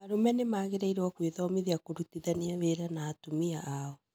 Arũme nĩmagĩrĩirwo gwĩthomithia kũrutithania wĩra na atumia ao